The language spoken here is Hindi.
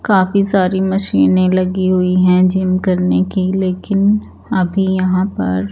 काफी सारी मशीने लगी हुई है जिम करने की लेकिन अभी यहाँ पर --